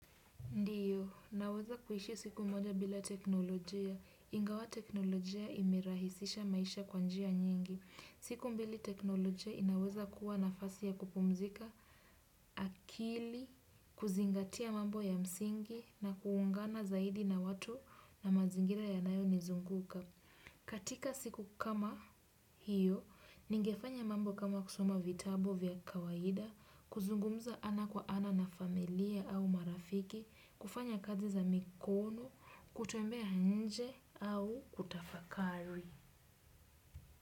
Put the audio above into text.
Ndio, naweza kuishi siku moja bila teknolojia. Ingawa teknolojia imerahisisha maisha kwa njia nyingi. Siku mbili teknolojia inaweza kuwa nafasi ya kupumzika, akili, kuzingatia mambo ya msingi, na kuungana zaidi na watu na mazingira yanayo nizunguka. Katika siku kama hiyo, ningefanya mambo kama kusoma vitabu vya kawaida, kuzungumza ana kwa ana na familia au marafiki, kufanya kazi za mikono, kutembea nje au kutafakari.